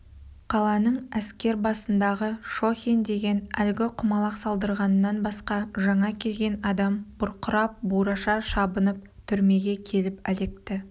қаланың әскер бастығы шохин деген әлгі құмалақ салдырғаннан басқа жаңа келген адам бұрқырап бураша шабынып түрмеге келіп әлекті